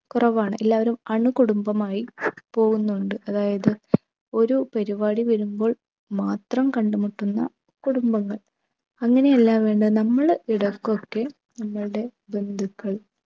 കുറവാണ്. എല്ലാവരും അണുകുടുംബമായി പോകുന്നുണ്ട്. അതായതു ഒരു പരുപാടി വരുമ്പോൾ മാത്രം കണ്ടുമുട്ടുന്ന കുടുംബങ്ങൾ. അങ്ങനെയല്ലാവേണ്ടേ നമ്മൾ ഇടക്കൊക്കെ നമ്മൾടെ ബന്ധുക്കൾ